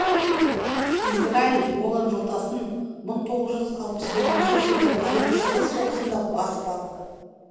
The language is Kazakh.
израиль голан жотасын мың тоғыз жүз алпыс жетінші жылғы таяу шығыс соғысында басып алды